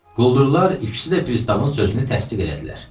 Quldurlar ikisi də pristavın sözünü təsdiq elədilər.